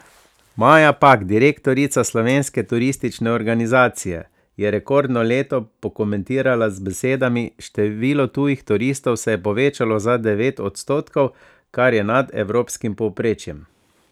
Maja Pak, direktorica Slovenske turistične organizacije, je rekordno leto pokomentirala z besedami: 'Število tujih turistov se je povečalo za devet odstotkov, kar je nad evropskim povprečjem.